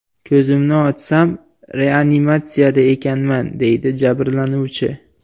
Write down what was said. Ko‘zimni ochsam, reanimatsiyada ekanman”, deydi jabrlanuvchi.